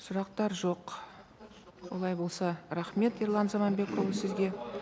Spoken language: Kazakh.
сұрақтар жоқ олай болса рахмет ерлан заманбекұлы сізге